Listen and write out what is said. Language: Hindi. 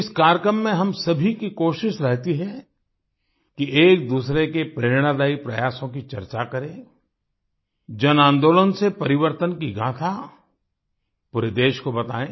इस कार्यक्रम में हम सभी की कोशिश रहती है कि एक दूसरे के प्रेरणादायी प्रयासों की चर्चा करें जनआंदोलन से परिवर्तन की गाथा पूरे देश को बताएँ